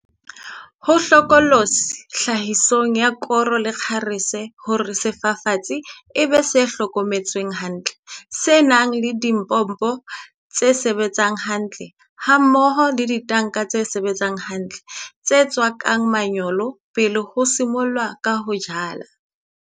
Ho hlokolosi tlhahisong ya koro le kgarese hore sefafatsi, pivot, e be se hlokometsweng hantle, se nang le dipompo tse sebetsang hantle hammoho le ditanka tse sebetsang hantle, tse tswakang manyolo pele ho simollwa ka ho jala.